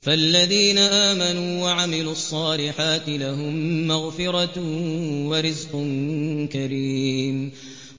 فَالَّذِينَ آمَنُوا وَعَمِلُوا الصَّالِحَاتِ لَهُم مَّغْفِرَةٌ وَرِزْقٌ كَرِيمٌ